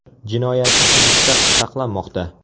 Jinoyatchi hibsda saqlanmoqda.